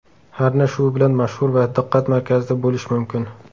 Harna shu bilan mashhur va diqqat markazida bo‘lish mumkin.